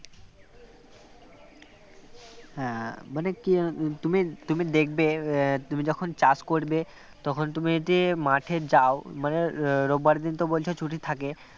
হ্যাঁ মানে কি তুমি তুমি দেখবে তুমি যখন চাষ করবে তখন তুমি যে মাঠে যাও মানে রোববার দিন তো বলছো ছুটি থাকে